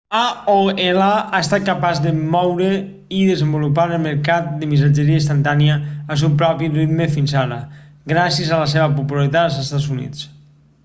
aol ha estat capaç de moure i desenvolupar el mercat de missatgeria instantània al seu propi ritme fins ara gràcies a la seva popularitat als estats units